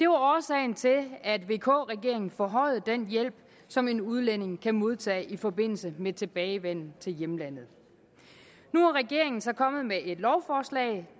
årsagen til at vk regeringen forhøjede den hjælp som en udlænding kan modtage i forbindelse med tilbagevenden til hjemlandet nu er regeringen så kommet med et lovforslag